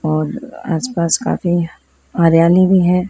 और आसपास काफी हरियाली भी है।